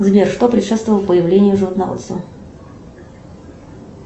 сбер что предшествовало появлению животноводства